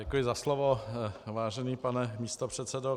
Děkuji za slovo, vážený pane místopředsedo.